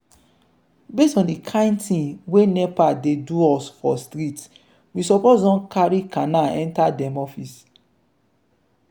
based on di kind thing wey nepa dey do us for street we suppose don carry cana enter dem office.